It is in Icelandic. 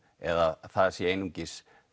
eða það séu eingöngu